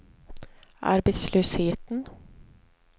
arbetslösheten